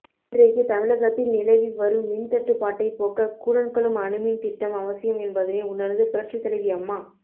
இன்றைக்கு தமிழகத்தில் நிலவிவரும் மின்தட்டுப்பாட்டை போக்க கூடன்குளம் அணுமின் திட்டம் அவசியம் என்பதனை உணர்ந்து புரட்சித் தலைவி அம்மா